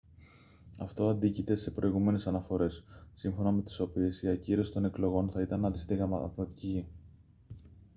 αυτό αντίκειται σε προηγούμενες αναφορές σύμφωνα με τις οποίες η ακύρωση των εκλογών θα ήταν αντισυνταγματική